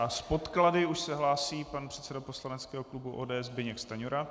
A s podklady už se hlásí pan předseda poslaneckého klubu ODS Zbyněk Stanjura.